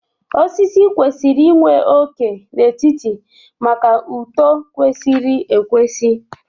Osisi kwesịrị inwe óké n'etiti maka uto kwesịrị ekwesị